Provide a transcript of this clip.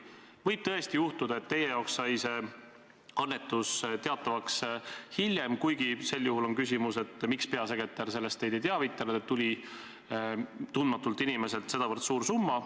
Võib tõesti juhtuda, et teile sai see annetus teatavaks hiljem – kuigi sel juhul tekib küsimus, miks peasekretär teid ei teavitanud, et tuli tundmatult inimeselt sedavõrd suur summa.